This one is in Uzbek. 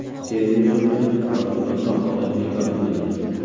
Fergyusonda favqulodda holat bekor qilindi.